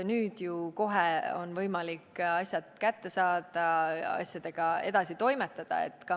Nüüd on ju kohe võimalik asjad kätte saada ja nendega edasi toimetada.